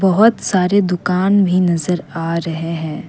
बहोत सारे दुकान भी नजर आ रहे हैं।